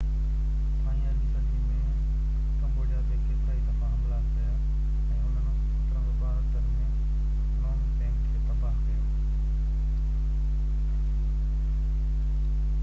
ٿائين 18 صدي ۾ ڪمبوڊيا تي ڪيترائي دفعا حملا ڪيا ۽ انهن 1772 ۾ فنوم پين کي تباه ڪيو